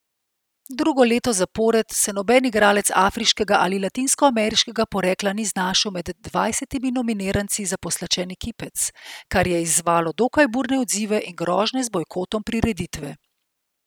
Drugo leto zapored se noben igralec afriškega ali latinskoameriškega porekla ni znašel med dvajsetimi nominiranci za pozlačeni kipec, kar je izzvalo dokaj burne odzive in grožnje z bojkotom prireditve.